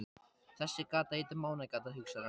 Þessi gata heitir Mánagata, hugsar hann.